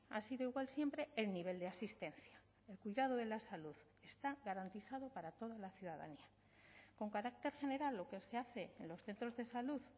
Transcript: ha sido igual siempre el nivel de asistencia el cuidado de la salud está garantizado para toda la ciudadanía con carácter general lo que se hace en los centros de salud